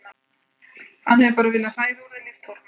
Hann hefur bara viljað hræða úr þér líftóruna.